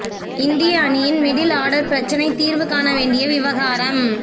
இந்திய அணியின் middle order பிரச்னை தீர்வு காண வேண்டிய விவகாரம்